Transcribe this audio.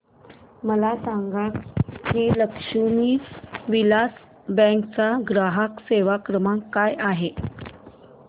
मला सांगा की लक्ष्मी विलास बँक चा ग्राहक सेवा क्रमांक काय आहे